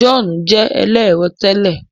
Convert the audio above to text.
John jé ẹlẹrọ tèlé